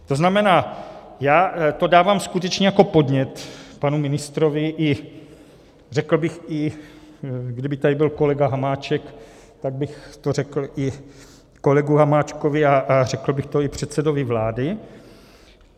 To znamená, já to dávám skutečně jako podnět panu ministrovi, a řekl bych, kdyby tady byl kolega Hamáček, tak bych to řekl i kolegovi Hamáčkovi a řekl bych to i předsedovi vlády.